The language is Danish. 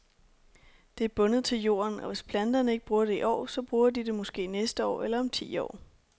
Det er bundet til jorden, og hvis planterne ikke bruger det i år, så bruger de det måske næste år eller om ti år.